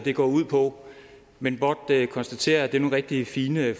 går ud på men blot konstatere at det er nogle rigtig fine